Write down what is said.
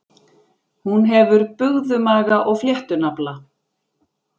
Hún hefur bugðumaga og fléttunafla.